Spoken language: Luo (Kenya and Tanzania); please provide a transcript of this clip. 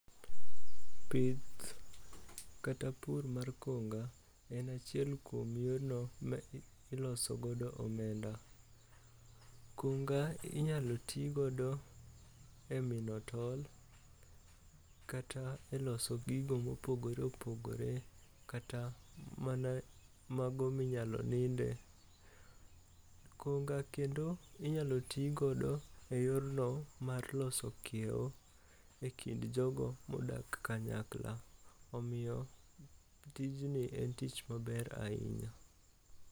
Pith kata pur mar konga en achiel kuom yorno ma ilosogodo omenda. Konga inyalo tigodo e mino tol kata e loso gigo mopogore opogore kata mago minyalo ninde. Konga kendo inyalo tigodo e yorno mar loso kiew e kind jogo modak kanyakla, omiyo tijni en tich maber ahinya.